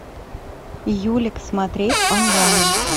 юлик смотреть онлайн